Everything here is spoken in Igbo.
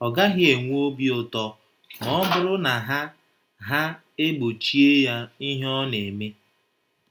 Ọ gaghị enwe obi ụtọ ma ọ bụrụ na ha ha e gbochie ya ihe ọ na-eme.